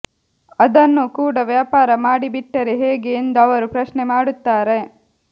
ಅದನ್ನೂ ಕೂಡ ವ್ಯಾಪಾರ ಮಾಡಿಬಿಟ್ಟರೆ ಹೇಗೆ ಎಂದು ಅವರು ಪ್ರಶ್ನೆ ಮಾಡುತ್ತಾರೆ